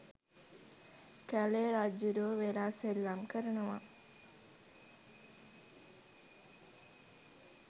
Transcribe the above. කැලේ රජ්ජුරුවෝ වෙලා සෙල්ලම් කරනවා